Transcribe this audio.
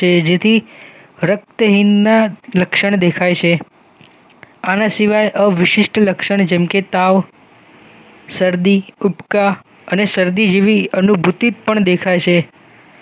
જેથી રક્તહીનના લક્ષણ દેખાય છે આના સિવાય અવિશિષ્ટ લક્ષણ જેમ કે તાવ સરદી ઊબકા અને સરદી જેવી અનુભૂતિ પણ દેખ છે